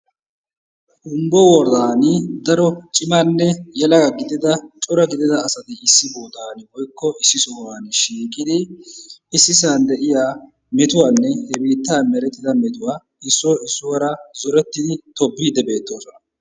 humbbo woradan daro cimanne yelagaa gidida asati issi bootan woykko issi sohuwan shiiqidi issisan de'iyaa metuwanne woykko he biittan merettida metuwaa issoy issuwaara zoretidi tobbidi beettoosona.